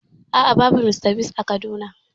A'a, babu Mr Biggs a Kaduna da